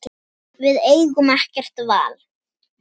Við eigum ekkert val